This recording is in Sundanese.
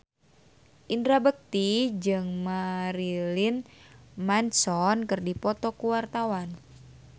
Indra Bekti jeung Marilyn Manson keur dipoto ku wartawan